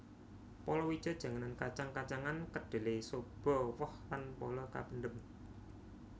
Palawija janganan kacang kacangan kedhelé soba woh lan pala kapendhem